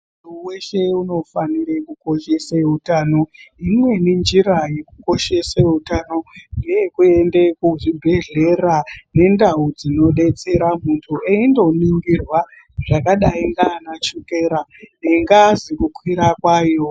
Mundu weshe unofanirwa kukoshese utano imweni nenjira yekukoshese utano uyu ngeyekuende kuzvibhedhlera nendawu dzinobetsera munduweyi ndoningirwa zvakadai nanachukera nengazi kukwira kwayi.